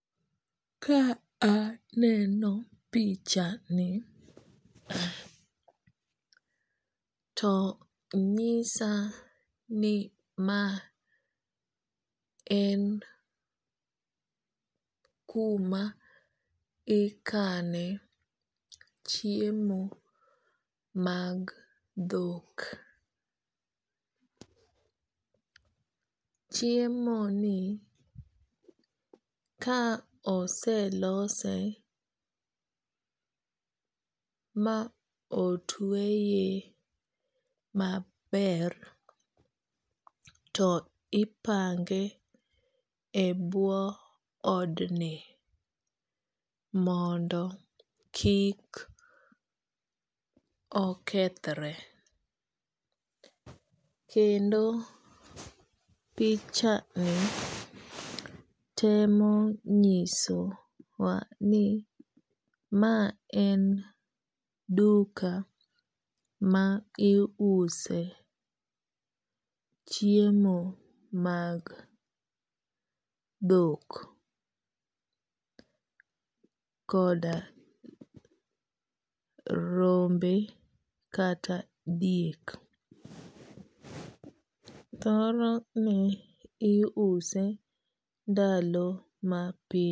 Ka aneno pichani to nyisa ni ma en kuma ikane chiemo mag dhok. Chiemo ni ka oselose ma otweye maber, to ipange e buo odni mondo kik okethre. Kendo pichani temo nyiso wa ni ma en duka ma iuse chiemo mag dhok koda rombe kata diek. Thoro ni iuse ndalo ma.